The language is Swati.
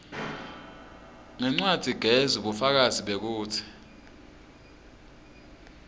ngencwadzigezi bufakazi bekutsi